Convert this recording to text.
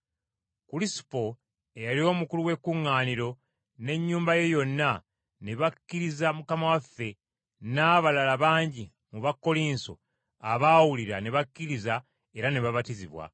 Kulisupo, eyali omukulu w’ekkuŋŋaaniro, n’ennyumba ye yonna, ne bakkiriza Mukama waffe, n’abalala bangi ku Bakkolinso abaawulira ne bakkiriza era ne babatizibwa.